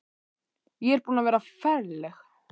Ég er búin að vera ferleg.